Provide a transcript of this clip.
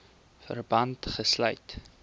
verband gesluit